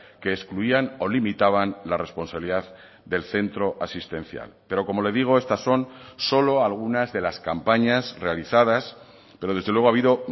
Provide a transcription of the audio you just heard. que excluían o limitaban la responsabilidad del centro asistencial pero como le digo estas son solo algunas de las campañas realizadas pero desde luego ha habido